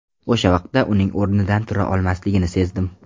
O‘sha vaqtda uning o‘rnidan tura olmasligini sezdim.